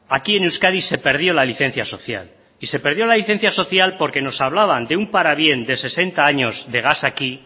aquí en euskadi se perdió la licencia social y se perdió la licencia social porque nos hablaban de un parabién de sesenta años de gas aquí